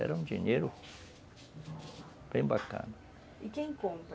Era um dinheiro bem bacana.